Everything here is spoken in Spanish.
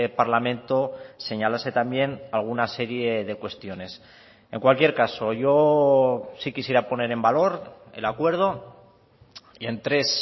parlamento señalase también alguna serie de cuestiones en cualquier caso yo sí quisiera poner en valor el acuerdo y en tres